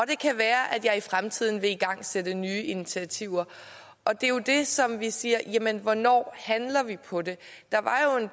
det kan være at hun i fremtiden vil igangsætte nye initiativer og det det som vi jo siger er jamen hvornår handler vi på det